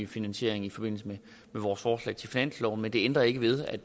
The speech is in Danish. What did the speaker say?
finansiering i forbindelse med vores forslag til finanslov men det ændrer ikke ved